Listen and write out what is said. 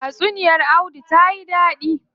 Tatsuniya audu tayi dadi.